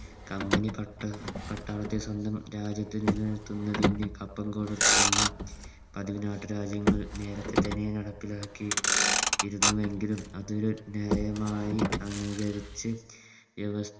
Company പട്ടം പട്ടാളത്തെ സ്വന്തം രാജ്യത്തിനു നിലനിർത്തുന്നതിന് കപ്പം കൊടുക്കുന്നു അതി നാട്ടുരാജ്യങ്ങൾ നേരത്തെ തന്നെ നടപ്പിലാക്കി ഇരുന്നുവെങ്കിലും അതൊരു നിയമമായി അംഗീകരിച്ച് വ്യവസ്‌